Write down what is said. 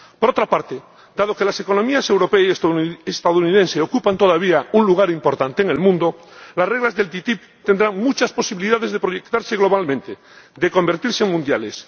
Por otra parte, dado que las economías europea y estadounidense ocupan todavía un lugar importante en el mundo, las reglas de la ATCI tendrán muchas posibilidades de proyectarse globalmente, de convertirse en mundiales.